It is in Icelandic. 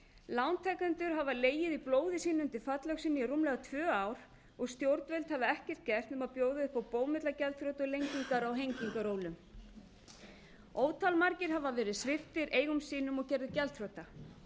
lántakendur hafa legið í blóði sínu undir fallöxinni í rúmlega tvö ár og stjórnvöld hafa ekkert gert nema bjóða upp á bómullargjaldþrot og lengingar á hengingarólum ótal margir hafa verið sviptir eigum sínum og gerðir gjaldþrota